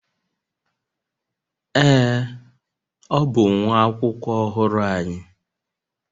Ee, ọ bụ nwa akwụkwọ ọhụrụ anyị.